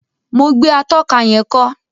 Mo gbé atóka yén kó